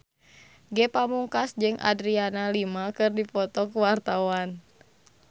Ge Pamungkas jeung Adriana Lima keur dipoto ku wartawan